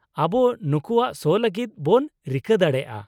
-ᱟᱵᱚ ᱱᱩᱠᱩᱣᱟᱜ ᱥᱳ ᱞᱟᱹᱜᱤᱫ ᱵᱚᱱ ᱨᱤᱠᱟᱹ ᱫᱟᱲᱮᱭᱟᱜᱼᱟ ᱾